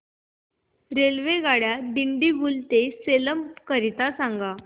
रेल्वेगाड्या दिंडीगुल ते सेलम करीता सांगा